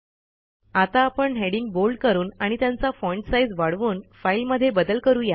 आता आपण heading bold करून आणि त्यांचा फाँट साईज वाढवून फाईलमध्ये बदल करू या